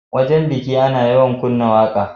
Wajan biki Ana yawan kunna waƙa